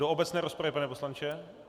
Do obecné rozpravy, pane poslanče?